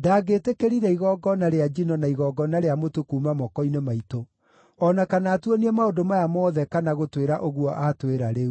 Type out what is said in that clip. ndangĩtĩkĩrire igongona rĩa njino na igongona rĩa mũtu kuuma moko-inĩ maitũ, o na kana atuonie maũndũ maya mothe kana gũtwĩra ũguo aatwĩra rĩu.”